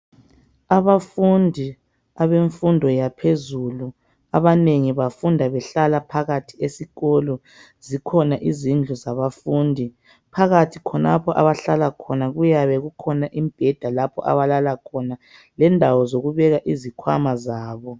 Abafundi abemfundo yaphezulu abanengi bafunda behlala phakathi esikolo zikhona izindlu zabafundi phakathi khonapho abahlala khona kuyabe kukhona imibheda lapho abalala khona lendawo zokubeka izikhwama zabo.